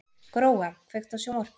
Gróa, kveiktu á sjónvarpinu.